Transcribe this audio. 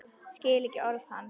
Skil ekki orð hans.